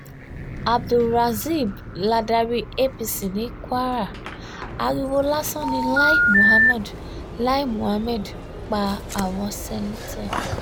abdulrazib ladarí apc ní kwara ariwo lásán ni lai muhammed lai muhammed ń pa àwọn seneto